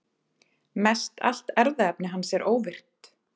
Mestallt erfðaefni hans er óvirkt.